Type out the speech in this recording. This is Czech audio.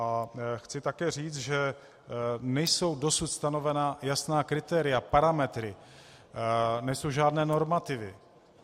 A chci také říct, že nejsou dosud stanovena jasná kritéria, parametry, nejsou žádné normativy.